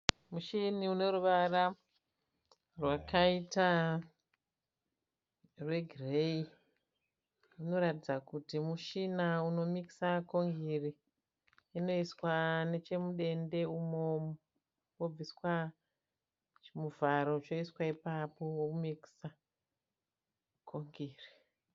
Mushini une ruvara rwakaita rwegireyi. Unoratidza kuti mushina unomikisa ngongiri. Inoiswa nechemudende umo wobviswa chimuvharo choiswa ipapo vomikisa kongiri.